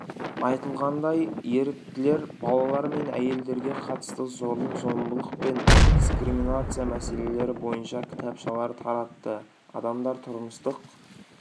айтылғандай еріктілер балалар мен әйелдерге қатысты зорлық-зомбылық пен дискриминация мәселелері бойынша кітапшалар таратты адамдар тұрмыстық